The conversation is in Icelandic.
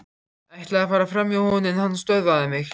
Ætlaði að fara framhjá honum en hann stöðvaði mig.